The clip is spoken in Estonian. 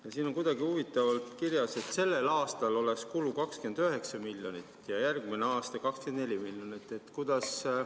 Ja siin on huvitavalt kirjas, et sellel aastal oleks kulu 29 miljonit ja järgmisel aastal 24 miljonit.